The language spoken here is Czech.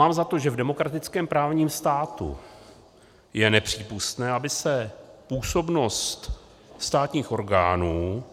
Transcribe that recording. Mám za to, že v demokratickém právním státu je nepřípustné, aby se působnost státních orgánů